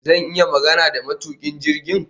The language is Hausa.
Zan iya magana da matukin jirgin?